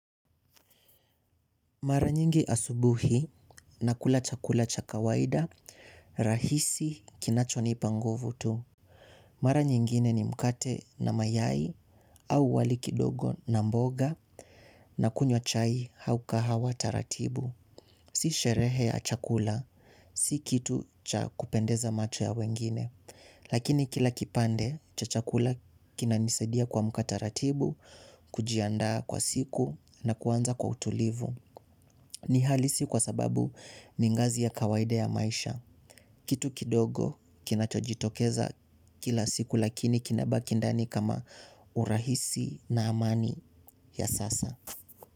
Mara nyingi asubuhi nakula chakula cha kawaida rahisi kinachonipa nguvu tu. Mara nyingine ni mkate na mayai au wali kidogo na mboga na kunywa chai au kahawa taratibu. Si sherehe ya chakula, si kitu cha kupendeza macho ya wengine. Lakini kila kipande cha chakula kinanisadia kuamka taratibu, kujianda kwa siku na kuanza kwa utulivu. Ni halisi kwa sababu ningazi ya kawaida ya maisha. Kitu kidogo kinacho jitokeza kila siku lakini kinabaki ndani kama urahisi na amani ya sasa.